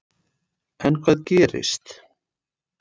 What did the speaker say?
En hvað gerist.